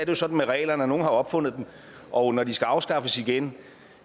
jo sådan med regler at nogle har opfundet dem og når de skal afskaffes igen